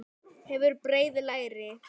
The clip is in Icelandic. Hefur breið læri.